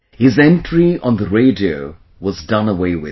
His entry on the radio was done away with